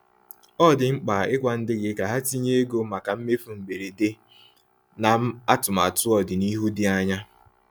Ọ dị mkpa ịgwa ndị gị ka ha tinye ego maka mmefu mgberede na atụmatụ ọdịnihu dị anya.